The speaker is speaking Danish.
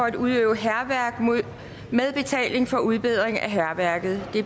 at udøve hærværk med betaling for udbedring af hærværket